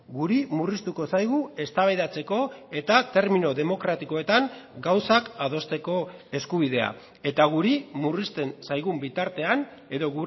guri murriztuko zaigu eztabaidatzeko eta termino demokratikoetan gauzak adosteko eskubidea eta guri murrizten zaigun bitartean edo